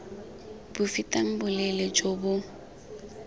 bo fetang boleele jo bo